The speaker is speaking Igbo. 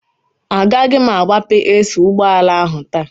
Agaghị m agbabe AC ụgbọala ahụ taa